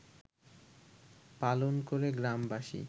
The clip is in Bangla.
পালন করে গ্রামবাসী